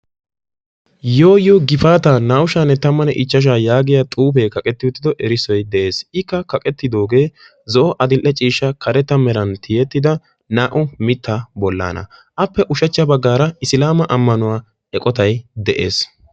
yoo yoo gifaata naa''u shaa'anne tammane ichchashsha yaagiya xuufe kaqqeti uttidi erissoy de'ees. ikka kaqqeti zo'o adl''i ciishsha meran tiyeti uttida naa''u mitta bollana, appe ushshachcha baggaara Islama ammanuwa eqqottay de'ees.